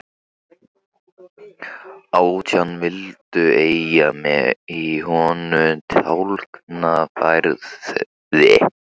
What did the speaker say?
Átján vildu eiga mig í honum Tálknafirði.